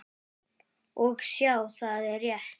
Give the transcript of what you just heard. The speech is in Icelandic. Og sjá, það er rétt.